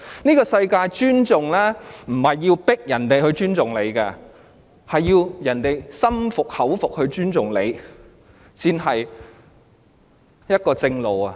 這個世界上，不是要迫人尊重你，而是要人心服口服地尊重你，這才是正路。